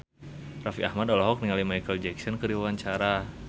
Raffi Ahmad olohok ningali Micheal Jackson keur diwawancara